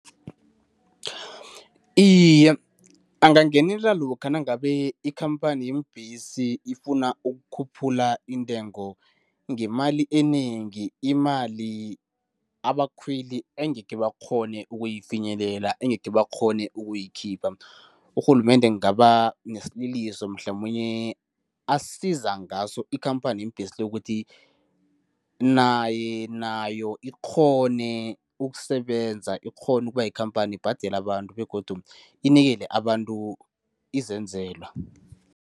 Iye, angangenela lokha nangabe ikhamphani yeembhesi ifuna ukukhuphula intengo ngemali enengi, imali abakhweli engekhe bakghone ukuyifinyelela, engekhe bakghone ukuyikhipha. Urhulumende kungaba nesililiso mhlamunye asiza ngaso ikhamphani yeembhesi le, ukuthi nayo ikghone ukusebenza, ikghone ukuba yikhampani ibhadele abantu begodu inikele abantu izenzelwa.